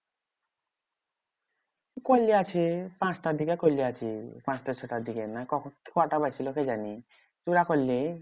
করলিয়াছি পাঁচটার দিকে করলিয়াছি পাঁচটা ছটার দিকে না কখন? কটা বাজছিলো কে জানি? তুই না করলি